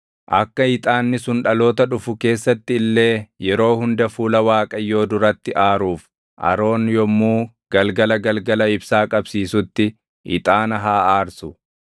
Akka ixaanni sun dhaloota dhufu keessatti illee yeroo hunda fuula Waaqayyoo duratti aaruuf Aroon yommuu galgala galgala ibsaa qabsiisutti ixaana haa aarsu.